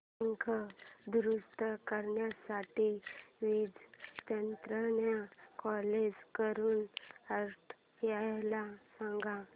पंखा दुरुस्त करण्यासाठी वीज तंत्रज्ञला कॉल करून अर्जंट यायला सांग